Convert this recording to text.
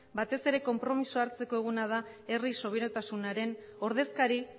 batez ere konpromezua hartzeko eguna da herri subiranotasunaren ordezkari